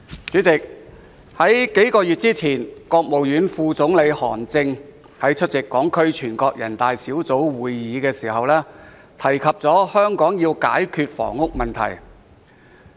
主席，數月前，國務院副總理韓正在會見港區全國人大代表時提到，香港要解決房屋問題。